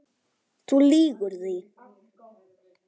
Þú lýgur því